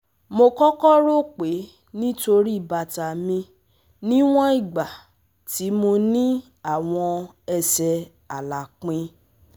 Mo kọkọ ro pe nitori bata mi niwọn igba ti mo ni awọn ẹsẹ alapin